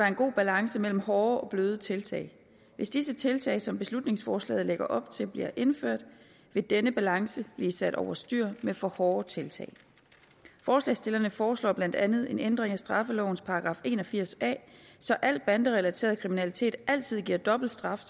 en god balance imellem hårde og bløde tiltag hvis disse tiltag som beslutningsforslaget lægger op til bliver indført vil denne balance blive sat over styr med for hårde tiltag forslagsstillerne foreslår blandt andet en ændring af straffelovens § en og firs a så al banderelateret kriminalitet altid giver dobbelt straf